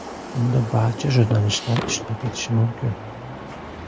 Unda barcha jurnalistlar ishtirok etishi mumkin.